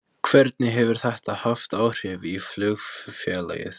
Hvernig hefur þetta haft áhrif á flugfélagið?